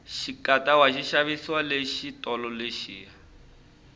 xikatawa xi xavisiwa le xitolo lexiya